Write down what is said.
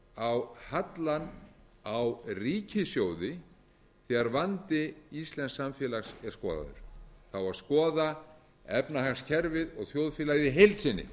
á hallann á ríkissjóði þegar vandi íslensks samfélags er skoðaður það á að skoða efnahagskerfið og þjóðfélagið í heild sinni